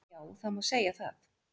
Já, það má segja það.